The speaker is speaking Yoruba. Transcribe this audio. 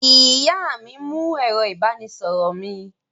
Ìyá mi mú ẹ̀rọ-ìbánisọ̀rọ̀ mi.